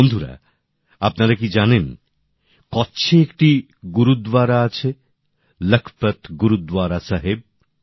বন্ধুরা আপনারা কি জানেন কচ্ছে একটি গুরদ্বারা আছে লাখপত গুরদ্বারা সাহেব